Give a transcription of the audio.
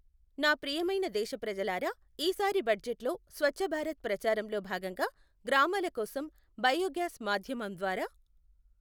నా ప్రియమైన దేశప్రజలారా, ఈ సారి బడ్జెట్ లో స్వఛ్ఛభారత్ ప్రచారంలో భాగంగా గ్రామాల కోసం బయోగ్యాస్ మాధ్యమం ద్వారా